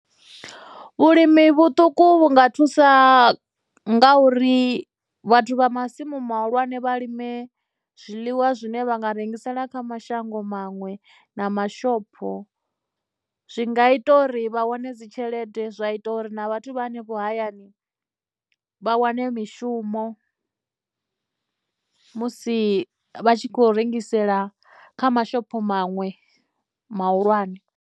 Vhulimi vhuṱuku vhu nga thusa nga uri vhathu vha masimu muhulwane vha lime zwiḽiwa zwine vha nga rengisela kha mashango maṅwe na mashopho, zwi nga ita uri vha wane dzitshelede, zwa ita uri na vhathu vha hanefho hayani vha wane mishumo musi vha tshi khou rengisela kha mashopho maṅwe mahulwane.